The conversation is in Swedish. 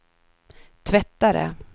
tvättare